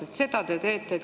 Vaat seda te teete!